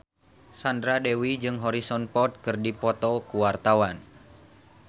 Sandra Dewi jeung Harrison Ford keur dipoto ku wartawan